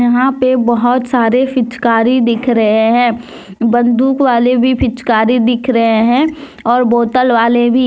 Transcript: यहां पे बहुत सारे फिचकारी दिख रहे हैं बंदूक वाले भी फिचकारी दिख रहे हैं और बोतल वाले भी।